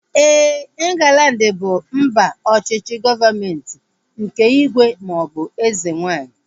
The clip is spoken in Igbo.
Éè, Inglandi bụ mba ọchịchị gọọmenti nke ígwè maọbụ eze nwaanyị